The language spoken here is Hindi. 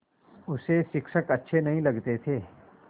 उसे शिक्षक अच्छे नहीं लगते थे